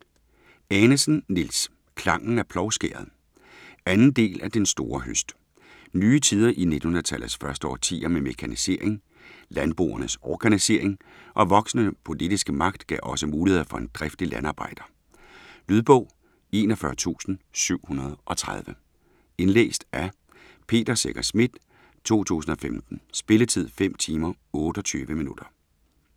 Anesen, Niels: Klangen af plovskæret 2. del af Den store høst. Nye tider i 1900-tallets første årtier med mekanisering, landboernes organisering og voksende politiske magt gav også muligheder for en driftig landarbejder. Lydbog 41730 Indlæst af Peter Secher Schmidt, 2015. Spilletid: 5 timer, 28 minutter.